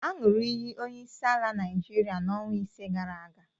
Aṅụrụ iyi onyeisiala Naịjirịa n'ọnwa ise gara aga.